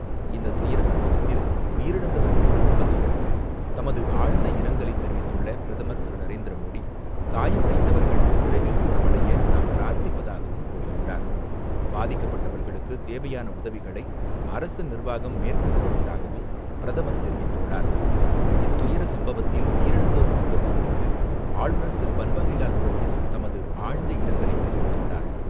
இந்த துயரச்சம்பவத்தில் உயிரிழந்தவர்களின் குடும்பத்தினருக்கு தமது ஆழ்ந்த இரங்கலை தெரிவித்துள்ள பிரதமர் திரு நரேந்திர மோடி, காயமடைந்தவர்கள் விரைவில் குணமடைய தாம் பிரார்த்திப்பதாகவும் கூறியுள்ளார். பாதிக்கப்பட்டவர்களுக்கு தேவையான உதவிகளை அரசு நிர்வாகம் மேற்கொண்டு வருவதாகவும் பிரதமர் தெரிவித்துள்ளார். இத்துயரச்சம்பவத்தில் உயிரிழந்தோர் குடும்பத்தினருக்கு ஆளுநர் திருபன்வாரிலால் புரோகித் தமது ஆழ்ந்த இரங்கலை தெரிவித்துள்ளார்.